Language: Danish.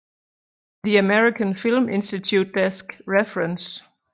The American Film Institute Desk Reference